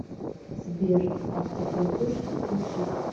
сбер автоплатеж отключить